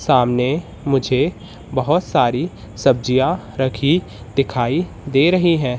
सामने मुझे बहोत सारी सब्जियां रखी दिखाई दे रही हैं।